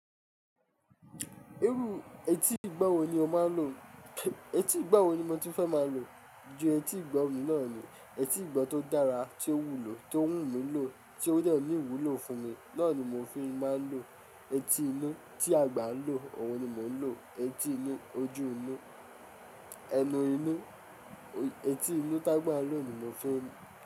Iru, etí ìgbọ́ wo ni o máa ń lò? Etí ìgbọ́ wo ni mo tun fẹ́ máa lò? Ju etí ìgbọ́ mi náà ni. Etí ìgbọ́ tó dára tí ó wù mí ló, tó wù mí lò, tí ó lè ní ìwúlò fún mi, náà ni mo fi máa ń lò. Etí inú tí àgbà ń lò, òun ni mò ń lò. Etí inú, ojú inú, ẹnu inú, etí inú t'ágbà ń lò ni mo fi n.